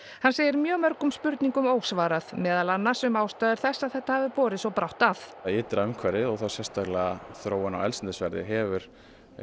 hann segir mjög mörgum spurningum ósvarað meðal annars um ástæður þess að þetta hafi borið svo brátt að ytra umhverfi og þá sérstaklega þróun á eldsneytisverði hefur